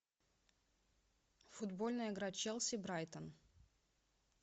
футбольная игра челси брайтон